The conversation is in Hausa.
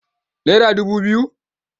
Naira dubu biyu.